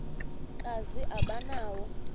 kazi aba nawo